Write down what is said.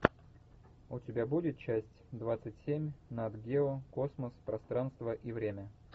у тебя будет часть двадцать семь нат гео космос пространство и время